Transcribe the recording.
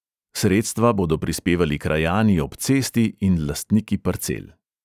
Sredstva bodo prispevali krajani ob cesti in lastniki parcel.